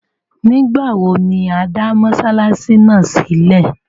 Nígbawo ni a dá Mossalasi náà sílẹ?